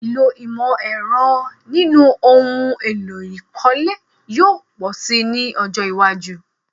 Ìlò ìmọ̀-ẹ̀rọ nínú ohun èlò ìkọ́lé yóò pọ̀ si ní ọjọ́ iwájú.